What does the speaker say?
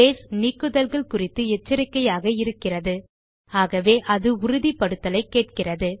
base நீக்குதல்கள் குறித்து எச்சரிக்கையாக இருக்கிறது ஆகவே அது உறுதிப்படுத்தலை கேட்கிறது